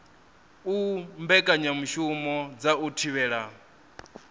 u mbekanyamushumo dza u thivhela